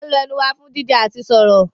We use our mouth for eating and talking